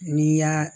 N'i y'a